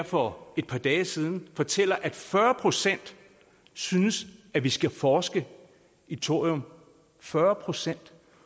for et par dage siden fortæller at fyrre procent synes at vi skal forske i thorium fyrre procent